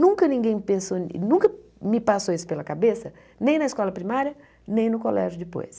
Nunca ninguém pensou, nunca me passou isso pela cabeça, nem na escola primária, nem no colégio depois.